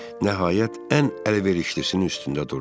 Nəhayət, ən əlverişlisinin üstündə durdum.